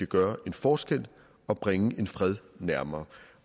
gøre en forskel og bringe en fred nærmere